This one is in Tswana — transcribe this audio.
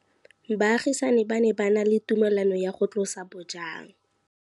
Baagisani ba ne ba na le tumalanô ya go tlosa bojang.